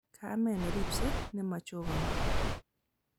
Kamet neribsei nemachokani